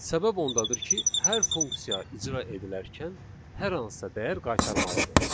Səbəb ondadır ki, hər funksiya icra edilərkən hər hansısa dəyər qaytarmalıdır.